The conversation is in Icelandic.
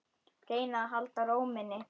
Reyna að halda ró minni.